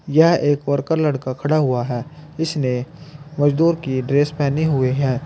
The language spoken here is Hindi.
यह एक वर्कर लड़का खड़ा हुआ है इसने मजदूर की ड्रेस पहने हुए हैं।